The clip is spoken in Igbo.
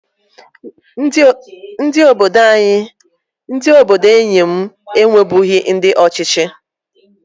Ndị obodo enyi m enwebughi ndị ọchịchị